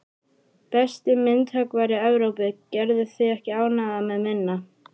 Besti myndhöggvari Evrópu, gerðu þig ekki ánægða með minna.